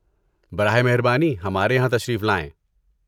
براہ مہربانی! ہمارے یہاں تشریف لائیں۔